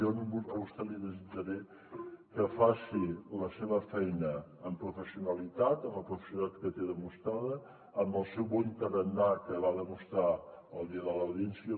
jo a vostè li desitjaré que faci la seva feina amb professionalitat amb la professionalitat que té demostrada amb el seu bon tarannà que va demostrar el dia de l’audiència